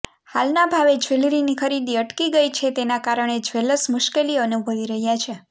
હાલના ભાવે જ્વેલરીની ખરીદી અટકી ગઈ છે તેના કારણે જ્વેલર્સ મુશ્કેલી અનુભવી રહ્યા છે